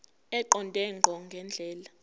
eqonde ngqo ngendlela